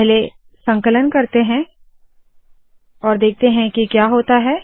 पहले संकलन करते है और देखते है क्या होता है